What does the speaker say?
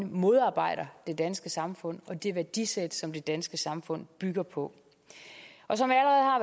modarbejder det danske samfund og det værdisæt som det danske samfund bygger på og som